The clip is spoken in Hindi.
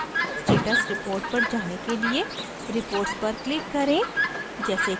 अब अपने site पर status report पर जाने के लिए reports पर click करें